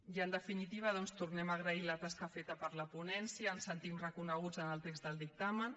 i en definitiva doncs tornem a agrair la tasca feta per la ponència ens sentim reconeguts en el text del dictamen